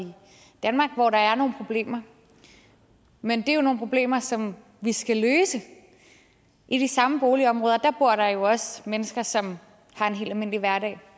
danmark hvor der er nogle problemer men det er jo nogle problemer som vi skal løse i de samme boligområder bor der jo også mennesker som har en helt almindelig hverdag